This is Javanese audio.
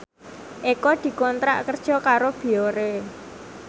Eko dikontrak kerja karo Biore